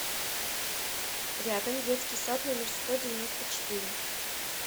рядом детский сад номер сто девяносто четыре